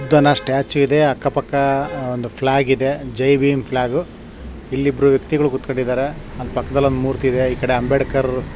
ಬುದ್ಧನ ಸ್ಟ್ಯಾಚು ಇದೆ ಅಕ್ಕ ಪಕ್ಕಾ ಒಂದು ಫ್ಲಾಗ್ ಇದೆ ಜೈನ ಫ್ಲಾಗ್ ಇಲ್ಲಿ ಇಬ್ಬರು ವೆಕ್ತಿಗಳೂ ಕೂತ್ಕೊಂಡಿದ್ದಾರೆ ಪಕ್ಕದಲ್ಲಿ ಮೂರ್ತಿ ಇದೆ ಈಕಡೆ ಅಂಬೇಡ್ಕರ್ --